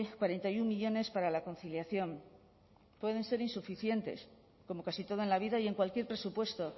cuarenta y uno millónes para la conciliación pueden ser insuficientes como casi todo en la vida y en cualquier presupuesto